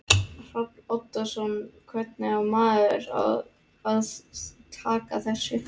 Hrafn Oddsson Hvernig á maður að taka þessu?